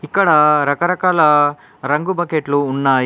ఇక్కడ రకరకాల రంగు బకెట్లు ఉన్నాయి.